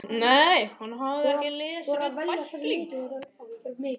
Nei, hún hafði ekki lesið neinn bækling.